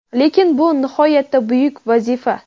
lekin bu nihoyatda buyuk vazifa.